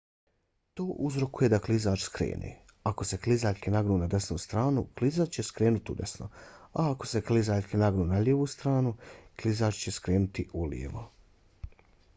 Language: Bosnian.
to uzrokuje da klizač skrene. ako se klizaljke nagnu na desnu stranu klizač će skrenuti udesno a ako se klizaljke nagnu na lijevu stranu klizač će skrenuti ulijevo